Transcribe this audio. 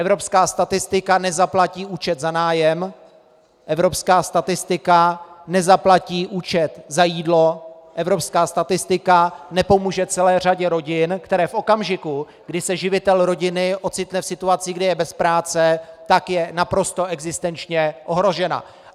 Evropská statistika nezaplatí účet za nájem, evropská statistika nezaplatí účet za jídlo, evropská statistika nepomůže celé řadě rodin, které v okamžiku, kdy se živitel rodiny ocitne v situaci, kdy je bez práce, tak je naprosto existenčně ohrožena.